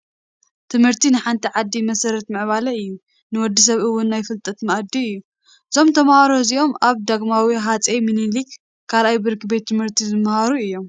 ትምህርቲ ንሓንቲ ዓዲ መሰረት ምዕባለ እዩ፡፡ ንወዲ ሰብ እውን ናይ ፍልጠት ማኣዲ እዩ፡፡ እዞም ተምሃሮ እዚኦም ኣብ ዳግማዊ ሃፀይ ሚኒሊክ 2ይ ብርኪ ቤት ት/ቲ ዝመሃሩ እዮም፡፡